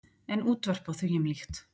En útvörp og þvíumlíkt.